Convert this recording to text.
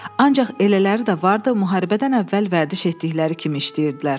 Ancaq elələri də vardı, müharibədən əvvəl vərdiş etdikləri kimi işləyirdilər.